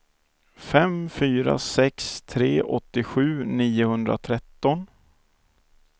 fem fyra sex tre åttiosju niohundratretton